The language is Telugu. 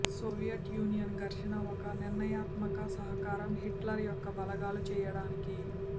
సోవియట్ యూనియన్ ఘర్షణ ఒక నిర్ణయాత్మక సహకారం హిట్లర్ యొక్క బలగాలు చేయడానికి